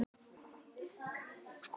En kallið var komið.